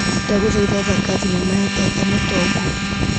Ndagũthaitha thaka thinema ya Tata Mũtongu.